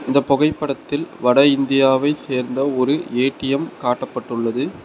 இந்த பொகைப்படத்தில் வட இந்தியாவை சேர்ந்த ஒரு ஏ_டி_எம் காட்டப்பட்டுள்ளது.